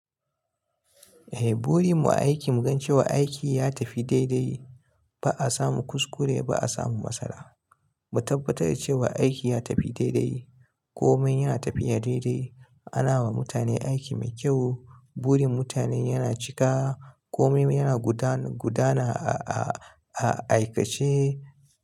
Eh, burin mu a aiki mu gan cewa aiki ya tafi daidai. Ba a samu kuskure ba, ba a samu matsala. Mu tabbatar da cewa aiki ya tafi daidai. Komai yana tafiya daidai. Anawa mutane aiki mai kyau. Burin mutane yana cika. Komai yana guda-- gudana a aikace.